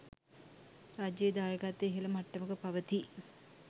රජයේ දායකත්වය ඉහළ මට්ටමක පවතියි